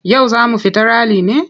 Yau za mu fita rali ne?